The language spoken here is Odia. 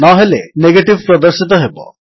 ନହେଲେ ନେଗେଟିଭ୍ ପ୍ରଦର୍ଶିତ ହେବ